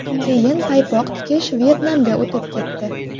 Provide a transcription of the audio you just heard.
Keyin paypoq tikish Vyetnamga o‘tib ketdi.